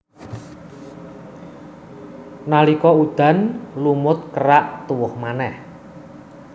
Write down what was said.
Nalika udan lumut kerak tuwuh manèh